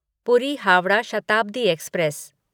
पूरी हावड़ा शताब्दी एक्सप्रेस